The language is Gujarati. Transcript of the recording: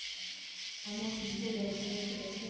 અને hundred SMS રેસે